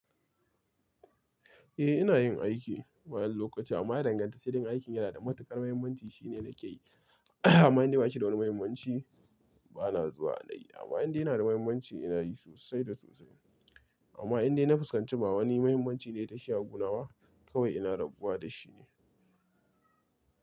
Eh ina yin aiki bayan lokaci amma ya danganta sai dai aikin yana da matuƙar mahimmanci shine da ke yi amma in dai ba shi da wani mahimmanci bana zuwa na yi. Amma indai yana da mahimmanci ina yi sosai da sosai. Amma indai na fuskanci ba wani mahimmanci ne ya tashi ya a gu naba kawai ina rabuwa da shi ne.